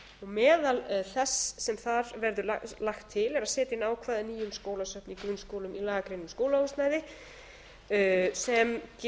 meðal þess sem þar verður lagt til er að setja inn ákvæði að nýjum skólasöfn í grunnskólum í lagagrein um skólahúsnæði þar sem í raun